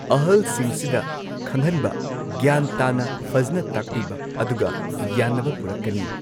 ꯑꯍꯜꯁꯤꯡꯁꯤꯗ ꯈꯪꯍꯟꯕ ꯒ꯭ꯌꯥꯟ ꯇꯥꯅ ꯐꯖꯅ ꯇꯥꯛꯄꯤꯕ ꯑꯗꯨꯒ ꯌꯥꯅꯕ ꯄꯨꯔꯛꯀꯅꯤ꯫